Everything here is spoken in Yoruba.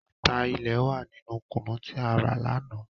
Ata ilẹ̀ wa ninu Kùnú tí a rà láánaà